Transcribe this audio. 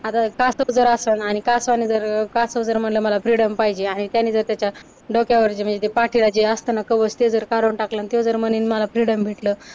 आता कासव जर असंल आणि कासवाने जर कासव जर म्हंटलं मला फ्रीडम पाहिजे आहे, त्याने जर त्याच्या डोक्यावरची म्हणजे ते पाठीला जे असतं ना कवच ते जर काढून टाकलं अन ते जर म्हंटले मला फ्रीडम भेटलं